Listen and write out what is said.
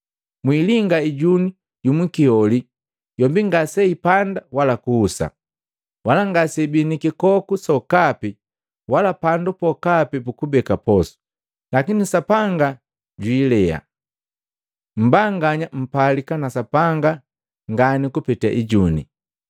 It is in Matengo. Mwiilinga ijuni yumukiholi yombi ngase ipanda wala kuhusa, wala ngaseibii nikikoku sokapi wala pandu pokapi pukubeka posu, lakini Sapanga jwiilea! Mmbanganya mpalika na Sapanga ngani kupeta ijune!